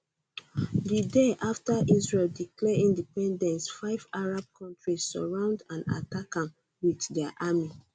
di day afta israel declare independence five arab kontris surround and attack am wit dia army